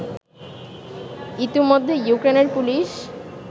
ইতোমধ্যে ইউক্রেনের পুলিশ